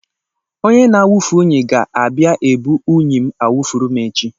Onye na-awufu unyi ga-abịa ebu unyi m awufuru m echi.